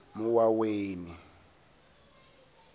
muwaweni